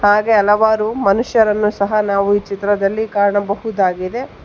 ಹಾಗೆ ಹಲವಾರು ಮನುಷ್ಯರನ್ನು ಸಹ ನಾವು ಈ ಚಿತ್ರದಲ್ಲಿ ಕಾಣಬಹುದಾಗಿದೆ.